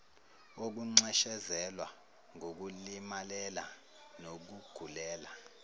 wokunxeshezelwa ngokulimalela nokugulela